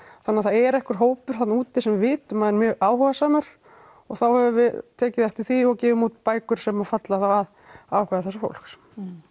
þannig það er einhver hópur þarna úti sem við vitum að er mjög áhugasamur og þá höfum við tekið eftir því og gefum út bækur sem falla þá að áhuga þessa fólks